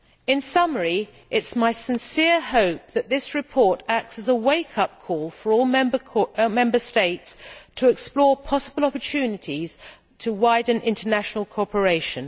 In summary, it is my sincere hope that this report acts as a wake up call for all Member States to explore possible opportunities to widen international cooperation.